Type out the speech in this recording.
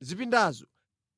Zipindazo